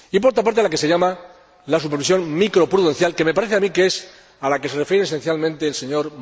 Y, por otra parte, la que se llama la supervisión microprudencial, que me parece que es a la que se refiere esencialmente el Sr.